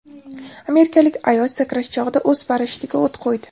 Amerikalik ayol sakrash chog‘ida o‘z parashyutiga o‘t qo‘ydi .